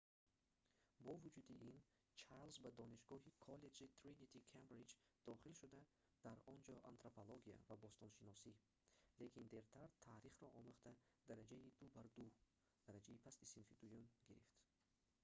бо вуҷуди ин чарлз ба донишгоҳи коллеҷи тринити кембриҷ дохил шуда дар он ҷо антропология ва бостоншиносӣ лекин дертар таърихро омӯхта дараҷаи 2:2 дараҷаи пасти синфи дуюм гирифт